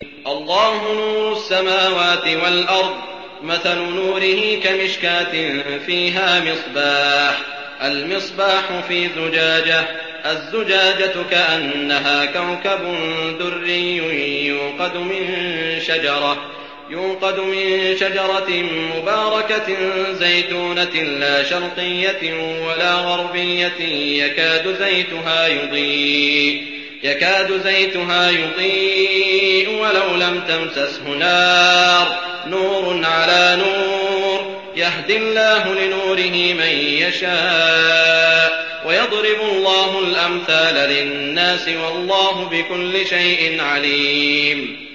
۞ اللَّهُ نُورُ السَّمَاوَاتِ وَالْأَرْضِ ۚ مَثَلُ نُورِهِ كَمِشْكَاةٍ فِيهَا مِصْبَاحٌ ۖ الْمِصْبَاحُ فِي زُجَاجَةٍ ۖ الزُّجَاجَةُ كَأَنَّهَا كَوْكَبٌ دُرِّيٌّ يُوقَدُ مِن شَجَرَةٍ مُّبَارَكَةٍ زَيْتُونَةٍ لَّا شَرْقِيَّةٍ وَلَا غَرْبِيَّةٍ يَكَادُ زَيْتُهَا يُضِيءُ وَلَوْ لَمْ تَمْسَسْهُ نَارٌ ۚ نُّورٌ عَلَىٰ نُورٍ ۗ يَهْدِي اللَّهُ لِنُورِهِ مَن يَشَاءُ ۚ وَيَضْرِبُ اللَّهُ الْأَمْثَالَ لِلنَّاسِ ۗ وَاللَّهُ بِكُلِّ شَيْءٍ عَلِيمٌ